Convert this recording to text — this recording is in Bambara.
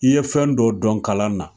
I ye fɛn dɔ dɔn kalan na